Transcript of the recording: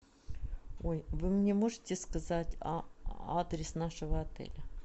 ой вы мне можете сказать адрес нашего отеля